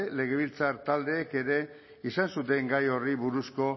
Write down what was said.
legebiltzar taldeek ere izan zuten gai horri buruzko